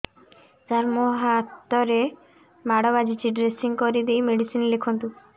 ସାର ମୋ ହାତରେ ମାଡ଼ ବାଜିଛି ଡ୍ରେସିଂ କରିଦେଇ ମେଡିସିନ ଲେଖନ୍ତୁ